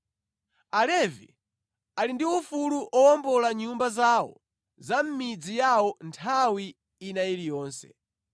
“ ‘Alevi ali ndi ufulu owombola nyumba zawo za mʼmidzi yawo nthawi ina iliyonse.